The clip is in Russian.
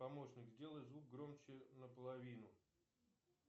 помощник сделай звук громче на половину